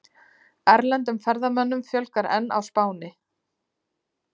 Erlendum ferðamönnum fjölgar enn á Spáni